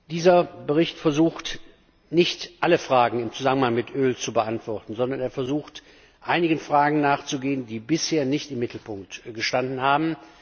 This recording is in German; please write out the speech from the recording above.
Dieser Bericht versucht nicht, alle Fragen im Zusammenhang mit Öl zu beantworten, sondern er versucht, einigen Fragen nachzugehen, die bisher nicht im Mittelpunkt gestanden haben.